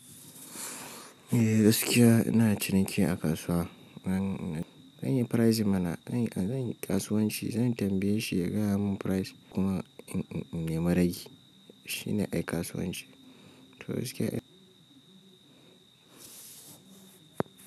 Eh, gaskiya ina ciniki a kasuwa. Zan, zan yi pricing mana, zan yi, zan yi kasuwanci, zan tambaye shi ya gaya mun price kuma in, in, in nema ragi. Shi ne ai kasuwanci. To gaskiya in.